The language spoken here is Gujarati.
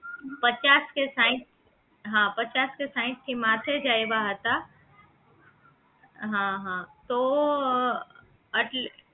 પચાસ કે સાહીઠ હા પચાસ કે સાહીઠ થી માથે જ આયવા હતા હા હા તો આટલ